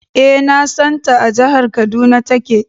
E, na san ta. A jahar Kaduna take.